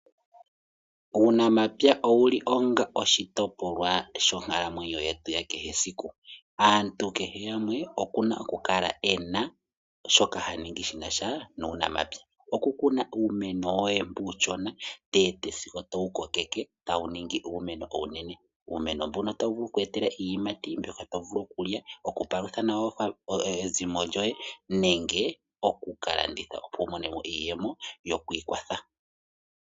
Uunamapya owuli onga oshitopolwa shonkalamwenyo yetu yakehe esiku. Aantu kehe gumwe okuna okukala ena shoka haningi shinasha nuunamapya. Okukuna uumeno woye mbu uushona sigo towukokeke tawu ningi iimeno iinene. Uumeno mbuno otawu vulu wuku etele iiyimati mbyoka tovulu okulya, okupalutha nawa ezimo lyoye nenge oku kalanditha opo wumonemo iiyemo yoku ikwatha